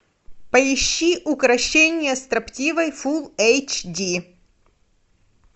поищи укрощение строптивой фул эйч ди